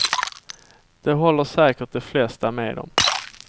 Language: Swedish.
Det håller säkert de flesta med om.